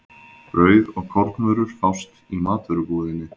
Brauð og kornvörur fást í matvörubúðinni.